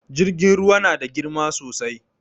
Jirgin ruwa na da girma sosai